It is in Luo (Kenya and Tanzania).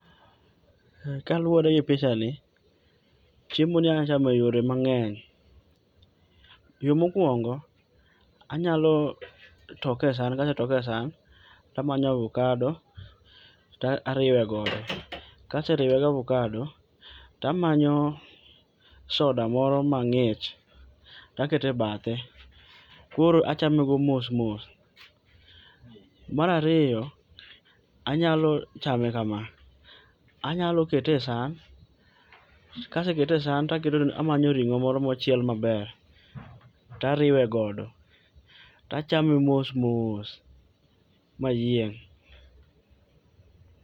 Kaluore gi pichani, chiemo ni anya chamo e yore mangeny. Yoo mokuongo anyalo toke e san, anya toke e san tamanyo avokado tariwe godo, kaseriwe gi avokado tamanyo soda moro mang'ich takete bathe, koro achame go mos mos. Mar ariyo, anyalo chame kama, anyalo kete e san, kasekete e san to amanyone ringo moro mochiel maber tariwe godo tachame mos mos mayieng.